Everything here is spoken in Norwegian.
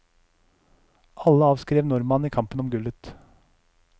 Alle avskrev nordmannen i kampen om gullet.